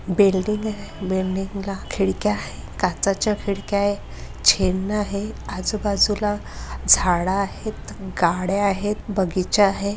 Building आहे building ला खिड़क्या आहे काचाच्या खिड़क्या आहे चिन्ह आहे अजूबाजूला झाड आहेत गाड्या आहेत बगीचा आहे.